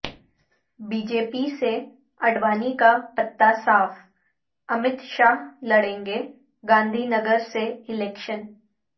B J پی سے اڈوانی کا پتہ صاف امت شاہ لڑئینگے گاندھی نگر سے الیکشن